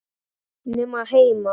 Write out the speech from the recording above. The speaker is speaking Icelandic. Nema heima.